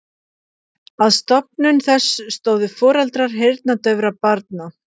Að stofnun þess stóðu foreldrar heyrnardaufra barna.